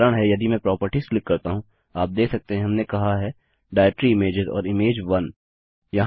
इसका कारण है यदि मैं प्रॉपर्टीज क्लिक करता हूँ आप देख सकते हैं हमने कहा है डायरेक्ट्री इमेजेस और इमेज 1